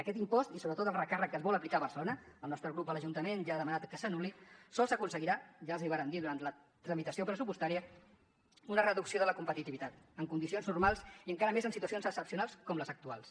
aquest impost i sobretot el recàrrec que es vol aplicar a barcelona el nostre grup a l’ajuntament ja ha demanat que s’anul·li sols aconseguirà ja els hi vàrem dir durant la tramitació pressupostària una reducció de la competitivitat en condicions normals i encara més en situacions excepcionals com les actuals